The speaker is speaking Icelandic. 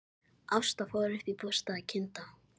Ásta fór upp í bústað að kynda.